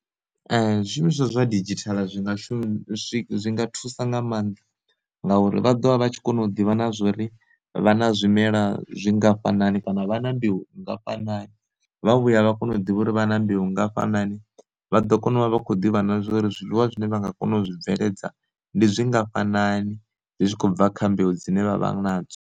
Zwi shumiswa zwa didzhithala zwi nga shumiswa zwi nga thusa nga maanḓa, ngauri vha ḓovha vha tshi kona u ḓivha na zwori vha na zwimela zwingafhanani kana vha na mbeu nngafhani, vha vhuya vha kona u ḓivha uri vha na mbilu ngafhani vha ḓo kona u vha vha khou ḓivha na zwa uri zwiḽiwa zwine vha nga kona u zwibveledzwa ndi zwi ngafhanani zwi tshi khou bva kha mbeu dzine vha vha nadzo.